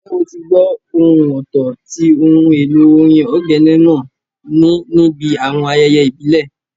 Ǹjẹ́ o ti gbó ohùn ọ̀tọ̀ tí ohun èlò orin ogene náà ní níbi àwọn ayẹyẹ ìbílẹ̀?